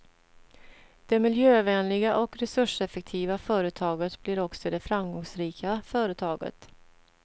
Det miljövänliga och resurseffektiva företaget blir också det framgångsrika företaget.